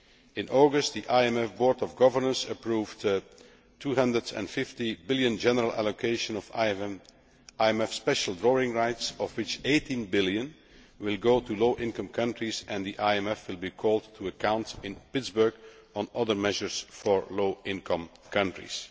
In August, the IMF Board of Governors approved a USD 250 billion general allocation of IMF special drawing rights, of which USD 18 billion will go to low income countries, and the IMF will be called to account in Pittsburgh on other measures for low income countries.